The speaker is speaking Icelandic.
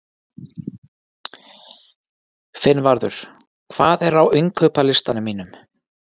Finnvarður, hvað er á innkaupalistanum mínum?